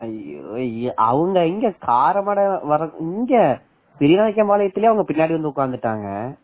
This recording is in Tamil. ஐயோ ஐயோ அவங்க எங்க இங்கே பெரியநாயக்கன்பாளையே அவங்க பின்னாடி உட்கார்ந்துட்டாங்க